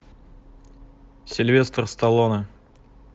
сильвестр сталлоне